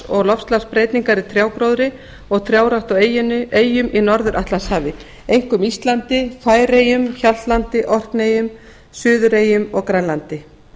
og loftslagsbreytingar á trjágróðri og trjárækt á eyjum í norður atlantshafi einkum íslandi færeyjum hjaltlandi orkneyjum suðureyjum og grænlandi